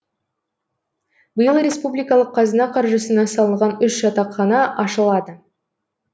биыл республикалық қазына қаржысына салынған үш жатақхана ашылады